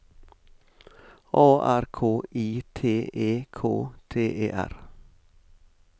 A R K I T E K T E R